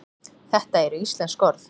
þetta eru íslensk orð